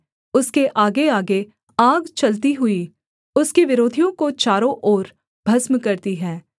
उसके आगेआगे आग चलती हुई उसके विरोधियों को चारों ओर भस्म करती है